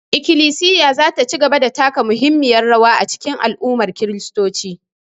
Ikilisiya za ta ci gaba da taka muhimmiyar rawa a cikin al'ummar kiristoci